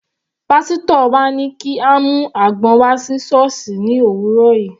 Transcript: Pásítọ̀ wa ní kí a mú àgbọn wá sí sọ́ọ̀sì ní òwúrọ̀ yìí.